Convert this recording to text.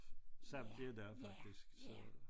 Som det har været faktisk så